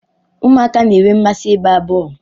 Ụmụaka na-enwe mmasị ịgba bọl